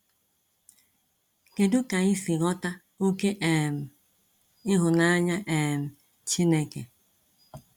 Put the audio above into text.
Kedu ka ị si ghọta oke um ịhụnanya um Chineke?